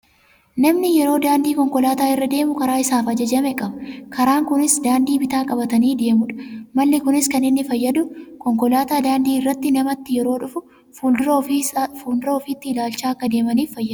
Namni yeroo daandii konkolaataa irra deemu karaa isaaf ajajame qaba. Karaan kunis daandii bitaa qabatanii deemuudha. Malli kunis kan inni fayyadu konkolaataan daandii irratti namatti yeroo dhufu fuuldura ofiitti ilaallachaa akka deemaniif fayyada.